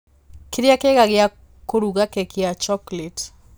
kĩrĩa kĩega gĩa kũruga keki ya chocolate